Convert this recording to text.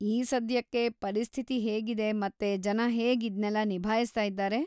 ಈ ಸದ್ಯಕ್ಕೆ ಪರಿಸ್ಥಿತಿ ಹೇಗಿದೆ ಮತ್ತೆ ಜನ ಹೇಗ್‌ ಇದ್ನೆಲ್ಲ ನಿಭಾಯ್ಸ್ತಾ ಇದಾರೆ?